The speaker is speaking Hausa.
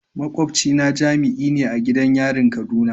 Makwabcina jami'i ne a gidan yarin kaduna.